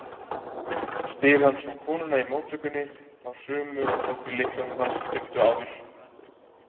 spyr hann svo konuna í móttökunni, þá sömu og tók við lyklinum hans stuttu áður.